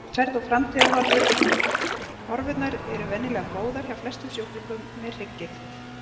Meðferð og framtíðarhorfur Horfurnar eru venjulega góðar hjá flestum sjúklingum með hrygggigt.